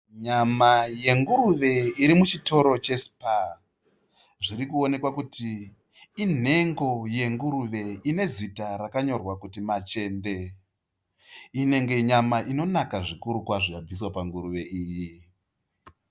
Nyama yenguruve irimuchitoro cheSPA. Zvirikuonekwa kuti inhengo yenguruve inezita rakanyorwa kuti machende. Inenge nyama inonaka kwazvo yabviswa panguruve iyi.